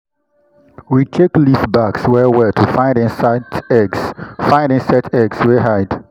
we check leaf backs well well to find insects eggs find insects eggs wey hide.